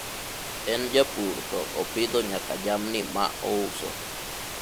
en japur to opidho nyaka jamni ma ouso